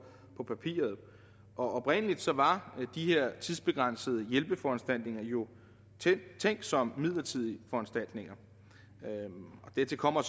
på papiret oprindelig var de her tidsbegrænsede hjælpeforanstaltninger jo tænkt som midlertidige foranstaltninger dertil kommer